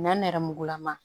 Nɛn nɛrɛmugulama